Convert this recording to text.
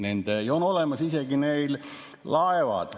Ja neil on olemas isegi laev.